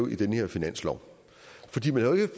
i de debatter